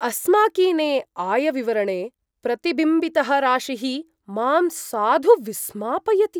अस्माकीने आयविवरणे प्रतिबिम्बितः राशिः मां साधु विस्मापयति।